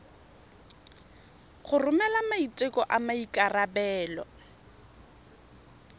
go romela maiteko a maikarebelo